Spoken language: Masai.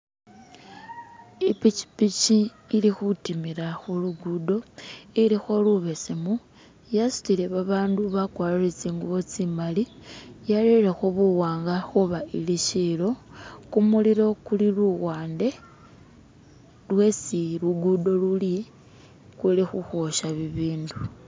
Ipikipiki ilikhutimila khuluguddo ilikholubesemu yasutile babandu bakwariile tsingubo tsimali yarerekho buwanga khuba ili shilo kumulilo kuli luwande lwesi luguddo luli kuli khukhwosha bibindu.